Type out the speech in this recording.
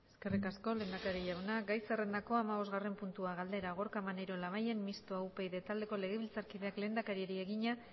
eskerrik asko lehendakari jauna gai zerrendako hamabostgarrena puntua galdera gorka maneiro labayen mistoa upyd taldeko legebiltzar kideak lehendakariari egina